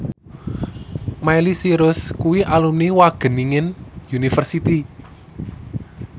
Miley Cyrus kuwi alumni Wageningen University